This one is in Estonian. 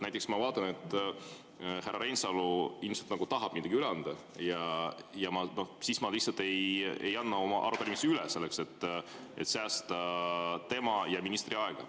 Näiteks ma vaatan, et härra Reinsalu ilmselt tahab midagi üle anda, ja siis ma lihtsalt ei anna oma arupärimist üle, et säästa tema ja ministri aega.